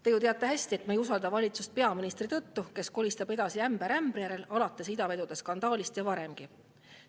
Te ju teate hästi, et me ei usalda valitsust peaministri tõttu, kes kolistab edasi, ämber ämbri järel, see algas idavedude skandaaliga ja varemgi.